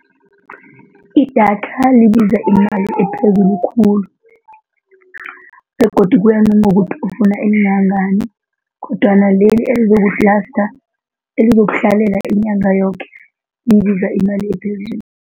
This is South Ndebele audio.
Idatha libiza imali ephezulu khulu begodu kuya nangokuthi ufuna elingangani kodwana leli elizokulasta, elizokuhlalela inyanga yoke libiza imali ephezulu.